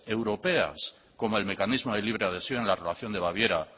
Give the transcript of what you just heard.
europeas como el mecanismo de libre adhesión en la relación de baviera